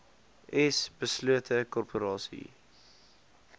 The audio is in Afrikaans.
s beslote korporasies